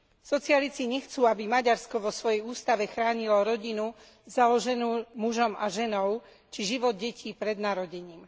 Socialisti nechcú, aby Maďarsko vo svojej ústave chránilo rodinu založenú mužom a ženou či život detí pred narodením.